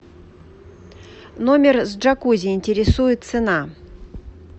номер с джакузи интересует цена